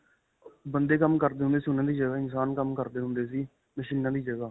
ਬੰਦੇ ਕੰਮ ਕਰਦੇ ਹੁੰਦੇ ਸੀ ਉਨ੍ਹਾਂ ਦੀ ਜਗ੍ਹਾ ਇਨਸਾਨ ਕੰਮ ਕਰਦੇ ਹੁੰਦੇ ਸੀ. ਮਸ਼ੀਨਾ ਦੀ ਜਗ੍ਹਾ.